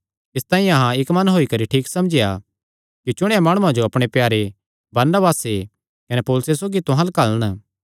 इसतांई अहां इक्क मन होई करी ठीक समझेया कि चुणेयां माणुआं जो अपणे प्यारे बरनबासे कने पौलुसे सौगी तुहां अल्ल घल्लन